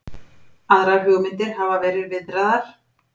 Aðrar hugmyndir hafa verið viðraðar